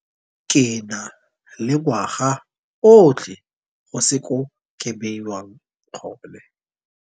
Ke na le ngwaga otlhe go se ko ke bediwang gone.